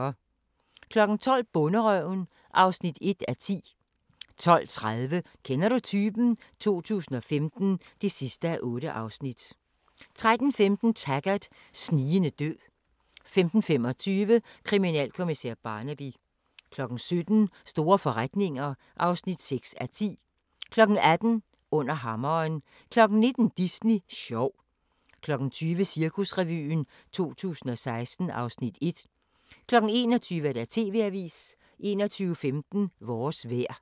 12:00: Bonderøven (1:10) 12:30: Kender du typen? 2015 (8:8) 13:15: Taggart: Snigende død 15:25: Kriminalkommissær Barnaby 17:00: Store forretninger (6:10) 18:00: Under hammeren 19:00: Disney sjov 20:00: Cirkusrevyen 2016 (Afs. 1) 21:00: TV-avisen 21:15: Vores vejr